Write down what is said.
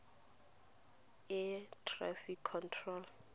air traffic control